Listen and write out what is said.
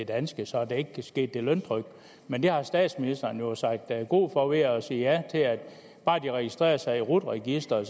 danske så der ikke kan ske løntrykkeri men det har statsministeren jo sagt god for ved at sige ja til at bare de registrerer sig i rut registeret